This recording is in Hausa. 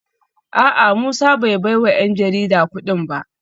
A’a Musa bai baiwa ‘yan jarida kudin ba